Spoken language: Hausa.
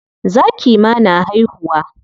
Zaki ma na haihuwa.